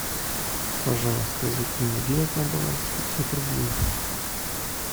пожалуйста закинь мне денег на баланс пятьсот рублей